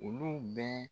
Olu bɛ